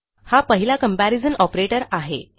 हा पहिला comparison operator आहे